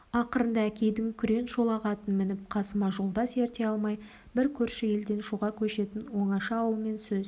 ақырында әкейдің күрең шолақ атын мініп қасыма жолдас ерте алмай бір көрші елден шуға көшетін оңаша ауылмен сөз